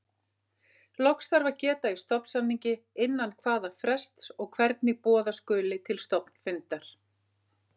Loks þarf að geta í stofnsamningi innan hvaða frests og hvernig boða skuli til stofnfundar.